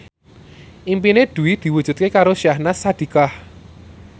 impine Dwi diwujudke karo Syahnaz Sadiqah